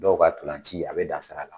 Dɔw ka dolanci a bɛ dan sira la.